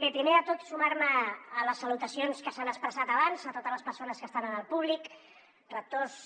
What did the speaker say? bé primer de tot sumar me a les salutacions que s’han expressat abans a totes les persones que estan en el públic rectors